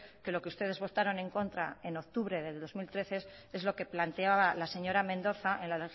que lo que ustedes votaron en contra en octubre del dos mil trece es lo que planteaba la señora mendoza en la